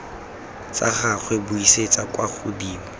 tsa gagwe buisetsa kwa godimo